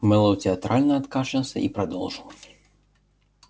мэллоу театрально откашлялся и продолжил